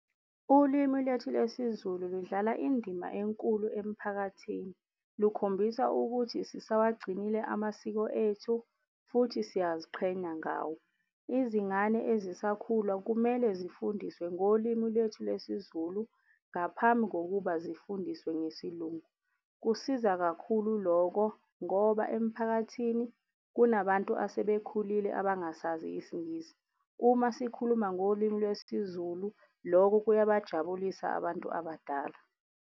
Ulimi lethu lesiZulu ludlala indima enkulu emphakathini. Lukhombisa ukuthi sisawugcinile amasiko ethu futhi siyaziqhenya ngawo. Izingane ezisakhula kumele zifundiswe ngolimi lwethu lwesiZulu ngaphambi kokuba zifundiswe ngesiLungu. Kusiza kakhulu loko ngoba emphakathini kunabantu asebekhulile abangasazi isiNgisi. Uma sikhuluma ngolimi lwesiZulu, loko kuyabajabulisa abantu abadala.